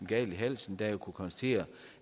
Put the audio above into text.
galt i halsen da jeg kunne konstatere